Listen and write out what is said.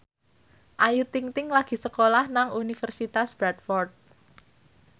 Ayu Ting ting lagi sekolah nang Universitas Bradford